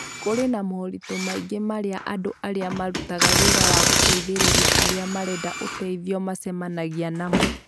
Kũrĩ na moritũ maingĩ marĩa andũ arĩa marutaga wĩra wa gũteithĩrĩria arĩa marenda ũteithio macemanagia namo.